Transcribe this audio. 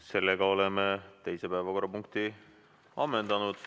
Sellega oleme teise päevakorrapunkti ammendanud.